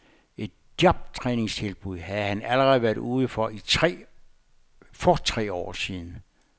Et jobtræningstilbud havde han allerede været ude i for tre år siden.